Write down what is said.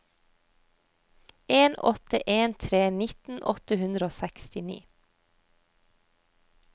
en åtte en tre nitten åtte hundre og sekstini